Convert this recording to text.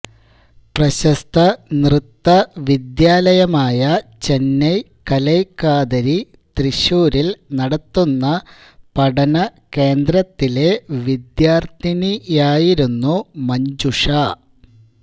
പ്രശസ്ത നൃത്തവിദ്യാലയമായ ചെന്നൈ കലൈകാതരി തൃശൂരിൽ നടത്തുന്ന പഠന കേന്ദ്രത്തിലെ വിദ്യാർത്ഥിനിയായിരുന്നു മഞ്ജുഷ